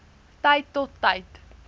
tyd tot tyd